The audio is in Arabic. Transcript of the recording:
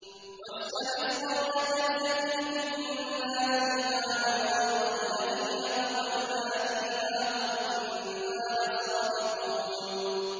وَاسْأَلِ الْقَرْيَةَ الَّتِي كُنَّا فِيهَا وَالْعِيرَ الَّتِي أَقْبَلْنَا فِيهَا ۖ وَإِنَّا لَصَادِقُونَ